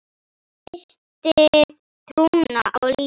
Missti trúna á lífið.